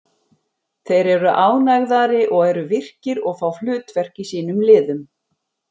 Þeir eru ánægðari og eru virkir og fá hlutverk í sínum liðum.